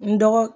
N dɔgɔ